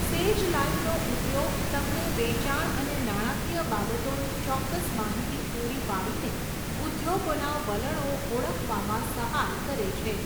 'સેજ લાઇવ'નો ઉપયોગ તમને વેચાણ અને નાણાકીય બાબતોની ચોક્કસ માહિતી પૂરી પાડીને ઉદ્યોગોના વલણો ઓળખવામાં સહાય કરે છે.